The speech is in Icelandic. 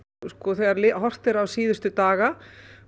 þegar horft er á síðustu daga